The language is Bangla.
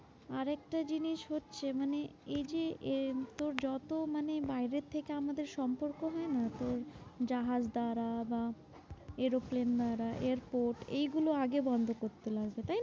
আরেকটা জিনিস হচ্ছে মানে এই যে এই তোর যত মানে বাইরের থেকে আমাদের সম্পর্ক হয় না? তোর জাহাজ দ্বারা বা এরোপ্লেন দ্বারা এয়ারপোর্ট এইগুলো আগে বন্ধ করতে লাগবে। তাই না?